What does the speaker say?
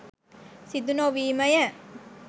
සිදු නොවීමය